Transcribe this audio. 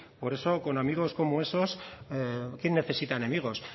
por eso con amigos como esos quién necesita enemigos